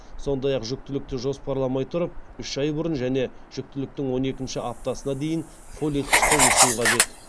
сондай ақ жүктілікті жоспарламай тұрып үш ай бұрын және жүктіліктің он екінші аптасына дейін фолий қышқылын ішуі қажет